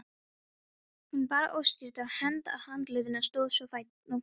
Hún bar óstyrka hönd að andlitinu, stóð svo á fætur.